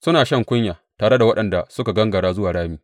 Suna shan kunya tare da waɗanda suka gangara zuwa rami.